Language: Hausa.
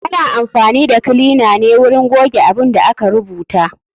Ana amfani da kilina na wurin goge abun da aka rubuta.